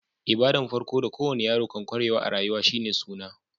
Ibada'n farko da ko wani yaro kan kwarewa a'rayuwa shine"suna."